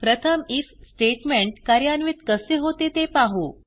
प्रथम IF statement कार्यान्वित कसे होते ते पाहू